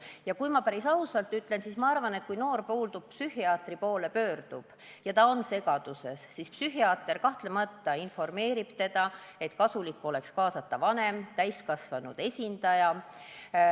Ja kui ma päris ausalt ütlen, siis ma arvan, et kui noor inimene psühhiaatri poole pöördub ja ta on segaduses, siis psühhiaater kahtlemata informeerib teda, et kasulik oleks kaasata ka vanem, täiskasvanud esindaja.